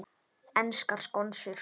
Enskar skonsur